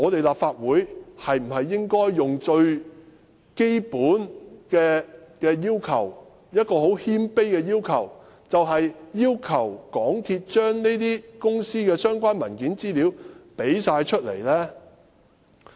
立法會最起碼是否應該提出一個很謙卑的要求，要求港鐵公司提供這些公司的所有相關文件和資料？